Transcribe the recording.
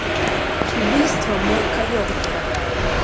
убийство мой конек дорогая